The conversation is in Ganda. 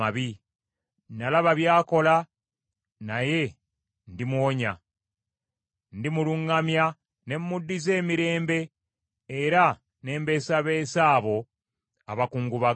Nalaba by’akola, naye ndimuwonya. Ndimuluŋŋamya ne muddiza emirembe era ne mbeesabeesa abo abakungubaga.